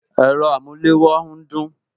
Ẹ̀rọ amulewo ń dún